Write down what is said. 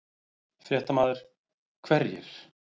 Fréttamaður: Hverjir?